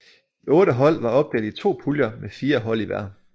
De otte hold var opdelt i to puljer med fire hold i hver